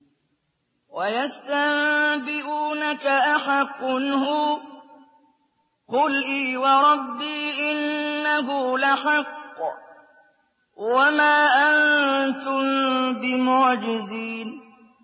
۞ وَيَسْتَنبِئُونَكَ أَحَقٌّ هُوَ ۖ قُلْ إِي وَرَبِّي إِنَّهُ لَحَقٌّ ۖ وَمَا أَنتُم بِمُعْجِزِينَ